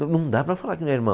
Não dá para falar que não é irmão.